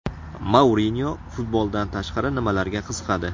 Mourinyo futboldan tashqari nimalarga qiziqadi?